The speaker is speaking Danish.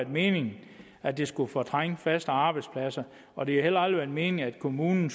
meningen at det skulle fortrænge faste arbejdspladser og det har heller aldrig været meningen at kommunen